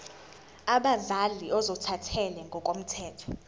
abazali ozothathele ngokomthetho